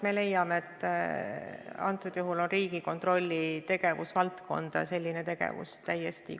Me leiame, et Riigikontrolli tegevusvaldkonda kuulub selline tegevus täiesti.